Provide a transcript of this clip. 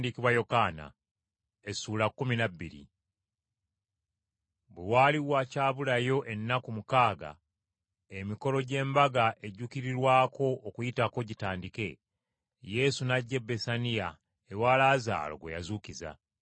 Bwe waali wakyabulayo ennaku mukaaga emikolo gy’Embaga ejjuukirirwako Okuyitako gitandike, Yesu n’ajja e Besaniya ewa Laazaalo gwe yazuukiza.